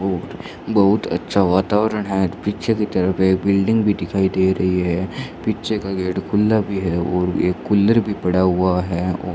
और बहुत अच्छा वातावरण है पीछे की तरफ एक बिल्डिंग भी दिखाई दे रही है पीछे का गेट खुला भी है और एक कूलर भी पड़ा हुआ है और --